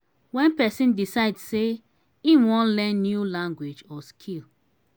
when person decide sey im wan learn new language or skill